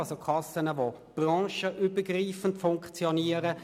Es sind Kassen, die branchenübergreifend funktionieren.